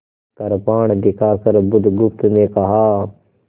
कृपाण दिखाकर बुधगुप्त ने कहा